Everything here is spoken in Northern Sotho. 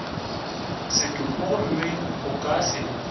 setopo gomme go ka se